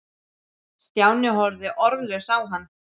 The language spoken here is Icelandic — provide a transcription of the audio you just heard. Stjáni horfði orðlaus á hann.